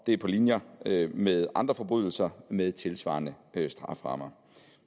er på linje med andre forbrydelser med tilsvarende strafferammer